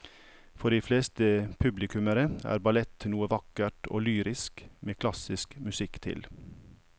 For de fleste publikummere er ballett noe vakkert og lyrisk med klassisk musikk til.